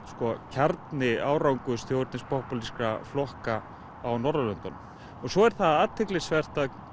kjarni árangurs þjóðernis flokka á Norðurlöndunum og svo er það athyglisvert að